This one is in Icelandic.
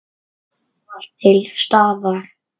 Ávallt til staðar.